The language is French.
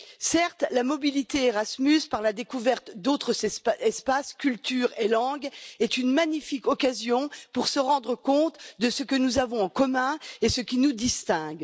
Certes, la mobilité Erasmus, par la découverte d'autres espaces, cultures et langues, est une magnifique occasion pour se rendre compte de ce que nous avons en commun et de ce qui nous distingue.